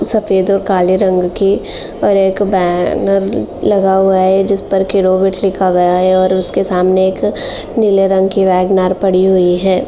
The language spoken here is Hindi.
सफेद और काले रंग कि और एक बैनर लगा हुआ है जिस पर केरोवित लिखा गया है और उसके सामने एक नीले रंग की वेगनार पड़ी हुई है।